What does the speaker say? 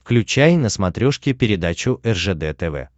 включай на смотрешке передачу ржд тв